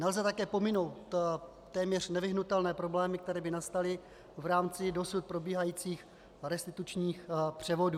Nelze také pominout téměř nevyhnutelné problémy, které by nastaly v rámci dosud probíhajících restitučních převodů.